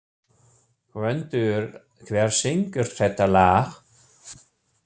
Gvöndur, hver syngur þetta lag?